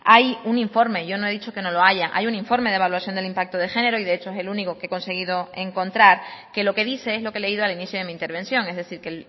hay un informe yo no he dicho que no lo haya hay un informe de evaluación del impacto de género y de hecho es el único que he conseguido encontrar que lo que dice es lo que he leído al inicio de mi intervención es decir que